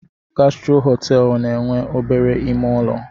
Gastro họteelụ na-enwe obere ime ụlọ.